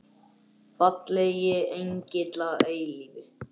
Fallegi engill að eilífu.